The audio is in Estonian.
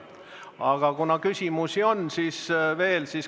Aga küsimusi on veel.